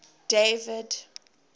david